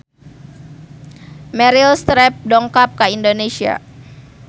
Meryl Streep dongkap ka Indonesia